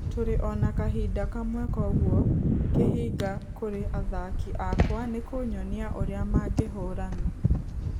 Tũrĩ ona kahinda kamwe kũgũo kĩhinga kũrĩ athaki akwa nĩkũnyonia ũrĩa mangĩhorana.